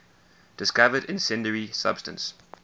discovered incendiary substance